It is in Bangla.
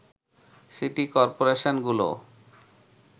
সিটি করপোরেশনগুলো